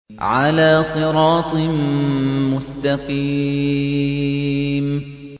عَلَىٰ صِرَاطٍ مُّسْتَقِيمٍ